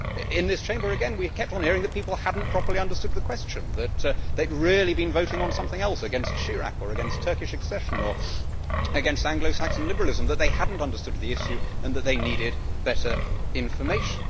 In this Chamber again, we kept on hearing that people had not properly understood the question, that they had really been voting on something else against Mr Chirac, or against Turkish accession, or against Anglo Saxon liberalism and that they had not understood the issue and that they needed better information.